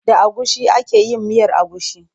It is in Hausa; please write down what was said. Da agushi ake yin miyar agushi.